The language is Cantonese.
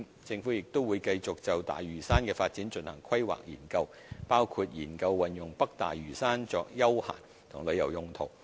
政府亦會繼續就大嶼山的發展進行規劃研究，包括研究運用北大嶼山作休閒及旅遊用途。